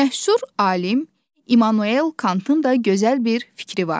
Məşhur alim İmmanuel Kantın da gözəl bir fikri vardır: